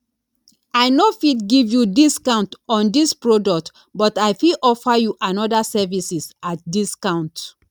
i no fit give you discount on dis product but i fit offer you anoda services at discount